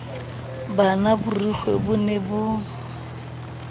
hana borikgwe bo ne bo